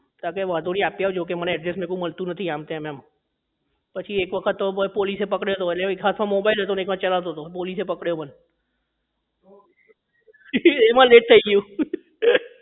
તો કે આપી આવજો તો મેં કીધું મને address મળતું નથી આમ કે એમ પછી એક વખતે તો પોલીસ એ પકડ્યો હતો વળી એક હાથ માં mobile હતો અને એક હાથે ચલાવતો હતો પોલીસ એ પકડ્યો મને એમાં late થઇ ગયું